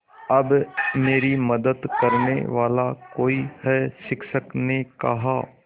अब मेरी मदद करने वाला कोई है शिक्षक ने कहा